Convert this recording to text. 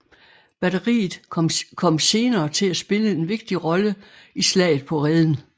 Batteriet kom senere til at spille en vigtig rolle i slaget på Reden